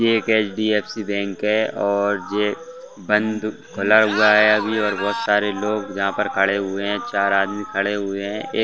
यह एक HDFC bank है और यह बंद खुला हुआ है अभी बहुत सारे लोग यहाँ पर खड़े हुए हैं चार आदमी खड़े हुए हैं एक --